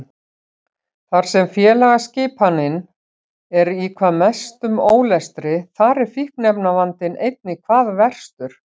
Þar sem félagsskipanin er í hvað mestum ólestri þar er fíkniefnavandinn einnig hvað verstur.